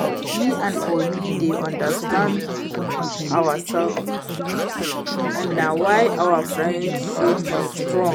Me and Obi dey understand ourselves and na why our friendship strong